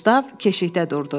Qustav keşiyə durdu.